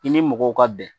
I ni mɔgɔw ka bɛn